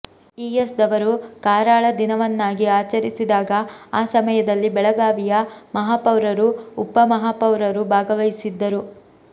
ES ದವರು ಕಾರಾಳ ದಿನವನ್ನಾಗಿ ಆಚರಿಸಿದಾಗ ಆ ಸಮಯದಲ್ಲಿ ಬೆಳಗಾವಿಯ ಮಹಾಪೌರರು ಉಪ ಮಹಾಪೌರರು ಭಾಗವಹಿಸಿದ್ದರು